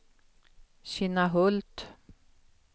Kinnahult